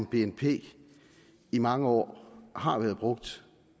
bnp i mange år har været brugt